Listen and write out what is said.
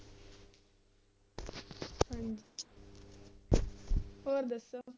ਹੋਰ ਦੱਸੋ